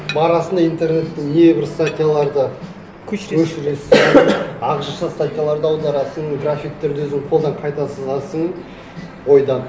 барасың да интернеттен не бір статьяларды көшіресің ағылшынша статьяларды аударасың графиктерді өзің қолдан қайта сызасың ойдан